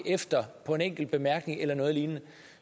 efter en enkelt bemærkning eller noget lignende